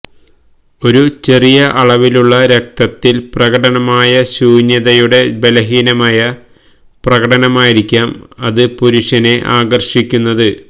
ഒരു ചെറിയ അളവിലുള്ള രക്തത്തിൽ പ്രകടമായ ഒരു ശൂന്യതയുടെ ബലഹീനമായ പ്രകടനമായിരിക്കാം അത് പുരുഷനെ ആകർഷിക്കുന്നത്